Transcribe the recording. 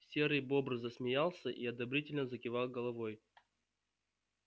серый бобр засмеялся и одобрительно закивал головой